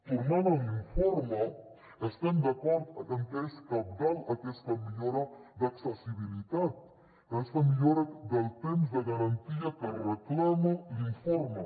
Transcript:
tornant a l’informe estem d’acord en que és cabdal aquesta millora d’accessibilitat aquesta millora del temps de garantia que reclama l’informe